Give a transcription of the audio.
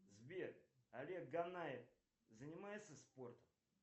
сбер олег ганаев занимается спортом